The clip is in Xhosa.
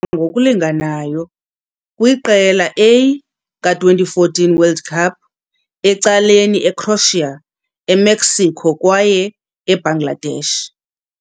ngokulinganayo! kwi Qela A ka-2014 World Cup, ecaleni Ecroatia, Emexico kwaye Ebangladesh.